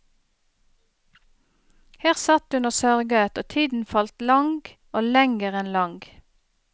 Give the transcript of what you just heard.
Her satt hun og sørget, og tiden falt lang og lenger enn lang.